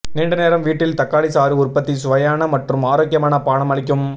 நீண்ட நேரம் வீட்டில் தக்காளி சாறு உற்பத்தி சுவையான மற்றும் ஆரோக்கியமான பானம் அளிக்கும்